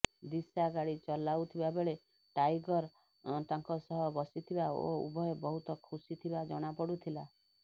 ଦିଶା ଗାଡି ଚଲାଉ ଥିବା ବେଳେ ଟାଇଗର ତାଙ୍କ ସହ ବସିଥିବା ଓ ଉଭୟ ବହୁତ ଖୁସିଥିବା ଜଣାପଡୁଥିଲା